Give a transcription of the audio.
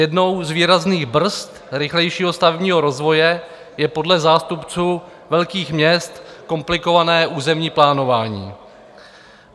Jednou z výrazných brzd rychlejšího stavebního rozvoje je podle zástupců velkých měst komplikované územní plánování.